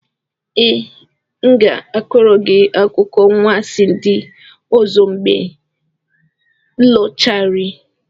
Ee, m ga-akọrọ gị akụkọ anwansi ndị ọzọ mgbe m lọghachiri.